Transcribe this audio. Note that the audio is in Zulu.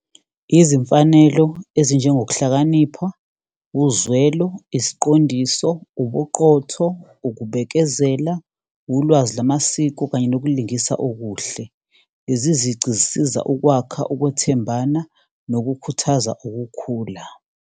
Izimfanelo ezinjengokuhlakanipha, uzwelo, isiqondiso, ubuqotho, ukubekezela, ulwazi lamasiko kanye nokulingisa okuhle. Lezi zici zisiza ukwakha ukwethembana nokukhuthaza ukukhula.